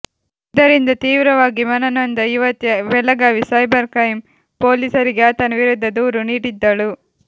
ಇದರಿಂದ ತೀವ್ರವಾಗಿ ಮನನೊಂದ ಯುವತಿ ಬೆಳಗಾವಿ ಸೈಬರ್ ಕ್ರೈಂ ಪೊಲೀಸರಿಗೆ ಆತನ ವಿರುದ್ಧ ದೂರು ನೀಡಿದ್ದಳು